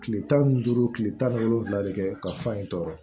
Kile tan ni duuru kile tan ni wolonwula de kɛ ka fa in tɔɔrɔ